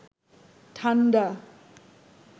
ঠান্ডা